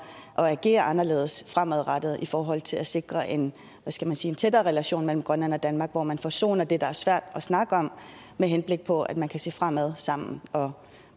at agere anderledes fremadrettet i forhold til at sikre en hvad skal jeg sige tættere relation mellem grønland og danmark hvor man forsoner det der er svært at snakke om med henblik på at man kan se fremad sammen og